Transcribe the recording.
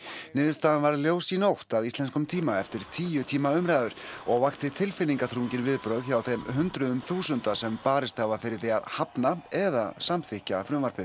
niðurstaðan varð ljós í nótt að íslenskum tíma eftir tíu tíma umræður og vakti tilfinningaþrungin viðbrögð hjá þeim hundruðum þúsunda sem barist hafa fyrir því að hafna eða samþykkja frumvarpið